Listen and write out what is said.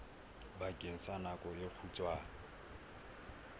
bakeng sa nako e kgutshwane